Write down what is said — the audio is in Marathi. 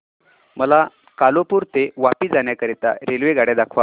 मला कालुपुर ते वापी जाण्या करीता रेल्वेगाड्या दाखवा